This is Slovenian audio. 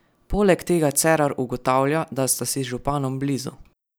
Poleg tega Cerar ugotavlja, da sta si z županom blizu?